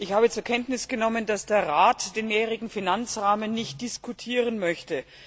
Ich habe zur Kenntnis genommen, dass der Rat den Mehrjährigen Finanzrahmen nicht diskutieren möchte.